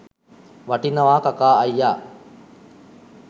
වටිනවා කකා අයියා